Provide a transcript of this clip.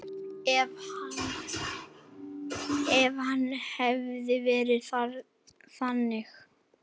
Ef hann hefði verið þannig.